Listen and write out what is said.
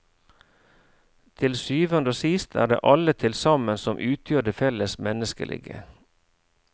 Til syvende og sist er det alle til sammen som utgjør det felles menneskelige.